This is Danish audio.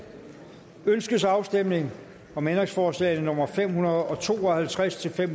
ønskes afstemning om ændringsforslag nummer fem hundrede og to og halvtreds til fem